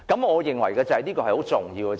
我認為這是相當重要的。